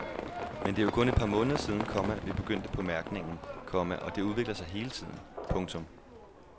Men det er jo kun et par måneder siden, komma vi begyndte på mærkningen, komma og det udvikler sig hele tiden. punktum